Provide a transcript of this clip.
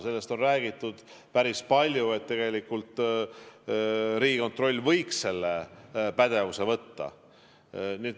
Sellest on räägitud päris palju, et tegelikult võiks Riigikontroll selle pädevuse endale võtta.